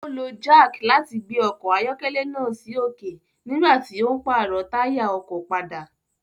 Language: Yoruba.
o lo jack láti gbé ọkọ ayọkẹlẹ náà sí òkè nigbati tí o n parọ taya ọkọ pàdà